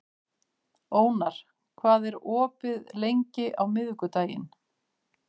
Ónar, hvað er opið lengi á miðvikudaginn?